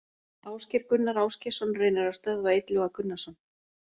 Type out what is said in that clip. Ásgeir Gunnar Ásgeirsson reynir að stöðva Illuga Gunnarsson.